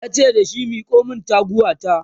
yace dashi "Miko min taguwa ta!"